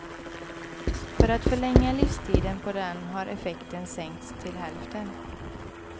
För att förlänga livstiden på den har effekten sänkts till hälften.